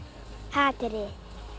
hatrið en